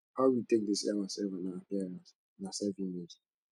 how we take dey see ourself and our appearance na selfimage